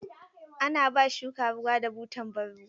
Ana ba shuka ruwa da butan ban ruwa.